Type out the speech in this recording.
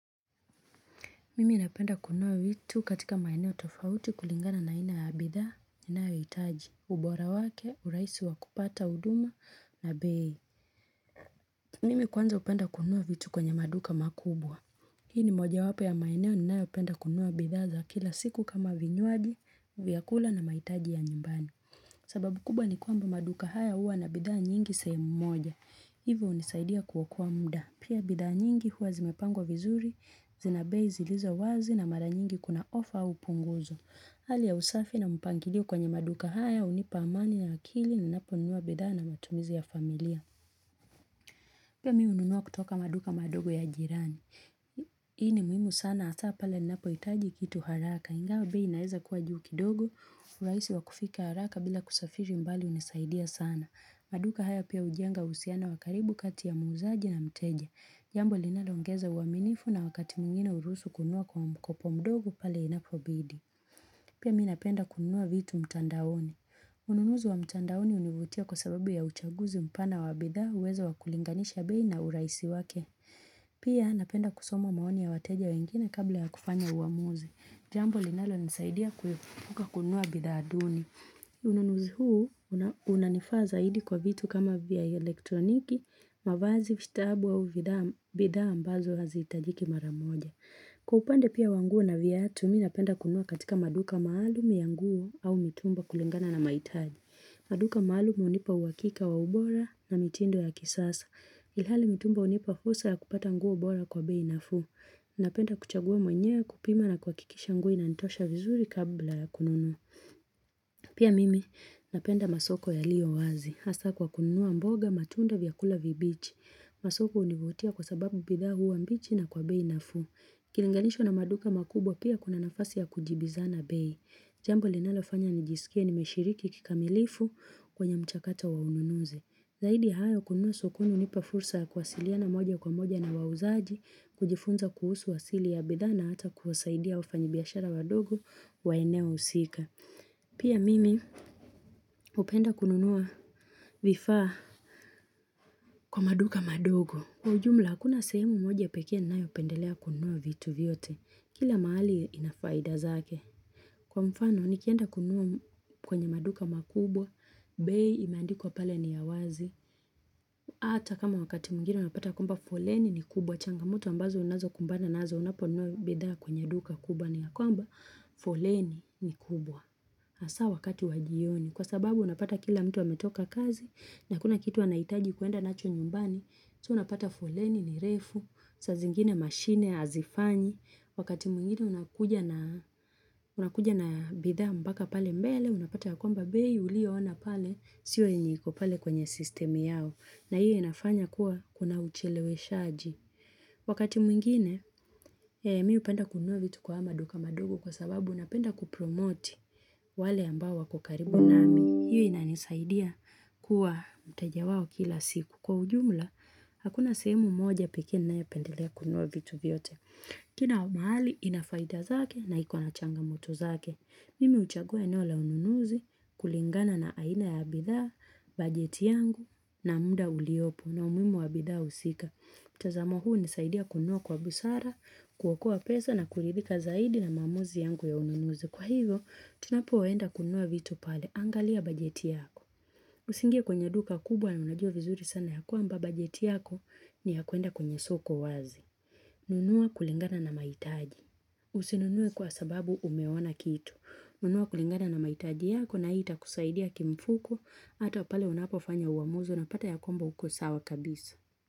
Mimi napenda kununua vitu katika maeneo tofauti kulingana na haina ya bidhaa, ninayohitaji, ubora wake, urahisi wa kupata huduma na bei. Mimi kwanza hupenda kunua vitu kwenye maduka makubwa. Hii ni mojawapo ya maeneo ninayopenda kununua bidhaa za kila siku kama vinywaji, vyakula na mahitaji ya nyumbani. Sababu kubwa ni kwamba maduka haya huwa na bidhaa nyingi sehemu moja. Hivo hunisaidia kuokoa muda. Pia bidhaa nyingi huwa zimepangwa vizuri, zinabei zilizo wazi na mara nyingi kuna ofa au punguzo. Hali ya usafi na mpangilio kwenye maduka haya hunipa amani na akili ninapo nunua bidhaa na matumizi ya familia. Pia mimi hununua kutoka maduka madogo ya jirani. Hii ni muhimu sana hasa pale ninapohitaji kitu haraka. Ingawa bei inaeza kuwa juu kidogo, urahisi wa kufika haraka bila kusafiri mbali hunisaidia sana. Maduka haya pia hujenga husiano wa karibu kati ya muuzaji na mteja. Jambo linaloongeza uaminifu na wakati mwingine uruhusu kunyoa kwa mkopo pale inapobidi. Pia mi napenda kununua vitu mtandaoni. Ununuzi wa mtandaoni hunivutia kwa sababu ya uchaguzi mpana wa bidhaa uwezo wa kulinganisha bei na urahisi wake. Pia napenda kusoma maoni ya wateja wengine kabla ya kufanya uamuzi. Jambo linalonisaidia kuepuka kununua bidhaa duni. Ununuzi huu, unanifaa zaidi kwa vitu kama vya elektroniki, mavazi vitabu au bidhaa ambazo hazihitajiki mara moja Kwa upande pia wa nguo na viatu, mimi napenda kunua katika maduka maalum ya nguo au mitumba kulingana na mahitaji maduka maalum hunipa uhakika wa ubora na mitindo ya kisasa Ilhali mitumba hunipa fursa ya kupata nguo bora kwa bei nafuu napenda kuchagua mwenyewe kupima na kuhakikisha nguo inanitosha vizuri kabla ya kununua Pia mimi napenda masoko yalio wazi. Hasa kwa kununua mboga matunda vyakula vibichi. Masoko hunivutia kwa sababu bidha huwa mbichi na kwa bei nafuu. Kilinganisho na maduka makubwa pia kuna nafasi ya kujibizana bei. Jambo linalofanya nijisikie nimeshiriki kikamilifu kwenye mchakato wa ununuzi. Zaidi ya hayo kununua sokoni hunipa fursa ya kuwasiliana moja kwa moja na wauzaji, kujifunza kuhusu wasili ya bidhaa na ata kuwasaidia wafanyibiashara wadogo wa eneo husika. Pia mimi hupenda kununua vifaa kwa maduka madogo. Kwa jumla, hakuna sehemu moja pekee ninayopendelea kununua vitu vyote. Kila mahali ina faida zake. Kwa mfano, nikienda kununua kwenye maduka makubwa, bei imeandikwa pale ni ya wazi. Hata kama wakati mwngine unapata kwamba foleni ni kubwa, changamoto ambazo unazokumbana nazo unaponunua bidhaa kwenye duka kubwa ni ya kwamba foleni ni kubwa. Hasa wakati wa jioni, kwa sababu unapata kila mtu ametoka kazi, na hakuna kitu wanahitaji kuenda nacho nyumbani, so unapata foleni ni refu, saa zingine machine hazifanyi, wakati mwingine unakuja na unakuja na bidhaa mpaka pale mbele, unapata ya kwamba bei, ulioona pale, sio yenye iko pale kwenye sistemu yao. Na hiyo inafanya kuwa kuna ucheleweshaji. Wakati mwingine, mi hupenda kununua vitu kwa haya maduka madogo kwa sababu napenda kupromoti wale ambao wako karibu nami. Hiyo inanisaidia kuwa mteja wao kila siku. Kwa ujumla, hakuna sehemu moja pekee ninayopendelea kununua vitu vyote. Kina mahali, inafaida zake na iko na changamoto zake. Mimi huchagua eneo la ununuzi, kulingana na aina ya bidhaa, bajeti yangu na muda uliopo na umuhimu wa bidhaa husika. Mtazamo huu hunisaidia kunua kwa busara, kuokoa pesa na kuridhika zaidi na maamuzi yangu ya ununuzi. Kwa hivyo, tunapoenda kunua vitu pale, angalia bajeti yako. Usiingie kwenye duka kubwa na unajua vizuri sana ya kwamba bajeti yako ni ya kwenda kwenye soko wazi. Nunua kulingana na mahitaji. Usinunue kwa sababu umeona kitu. Nunua kulingana na mahitaji yako na hii itakusaidia kimfuko. Hata pale unapofanya uamuzi unapata ya kwamba huko sawa kabisa.